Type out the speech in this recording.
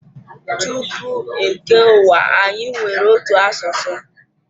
Tupu e kee ụwa anyi nwere otu asụsụ.